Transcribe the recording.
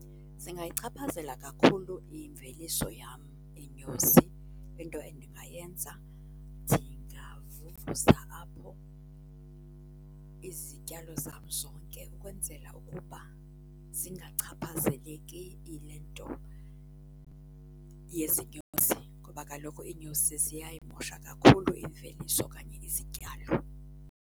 Zingayichaphazela kakhulu imveliso yam iinyosi. Into endingayenza, ndingavuvuza apho izityalo zam zonke ukwenzela ukuba zingachaphazeleki yile nto yezinyosi ngoba kaloku iinyosi ziyayimosha kakhulu imveliso okanye izityalo.